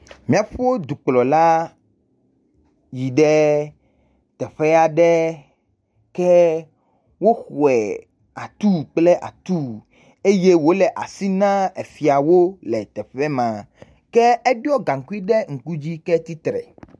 Míaɖƒe dukplɔla yi ɖe teƒe aɖe ke woxɔe atuu kple atuu eye wòle asi nam efiawo le teƒe ma, ke eɖiɔ gaŋkui ɖe ŋku dzi ketsi tre.